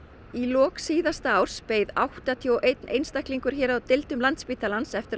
í lok síðasta árs beið áttatíu og einn einstaklingur hér á Landspítala eftir